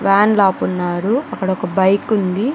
Van లోపు ఉన్నారు అక్కడ ఒక బైక్ ఉంది.